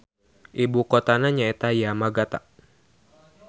Ibukotana nyaeta Yamagata.